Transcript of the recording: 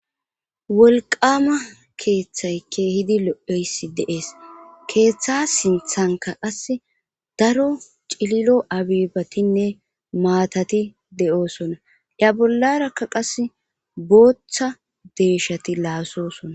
Wolqama keeththay keehidi lo7eyssi deees keeththa sinthanka qas daro cililo abibatinne maatati de7oosona ya bollarakka qas booththa deeshati laasosona.